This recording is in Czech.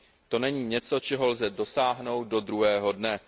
To není něco, čeho lze dosáhnout do druhého dne.